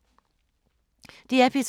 DR P3